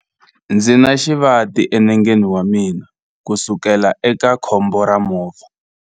Ndzi na xivati enengeni wa mina kusukela eka khombo ra movha.